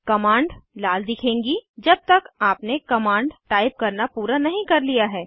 command लाल दिखेगी जब तक आपने कमांड टाइप करना पूरा नहीं कर लिया है